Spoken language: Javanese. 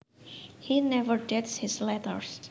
He never dates his letters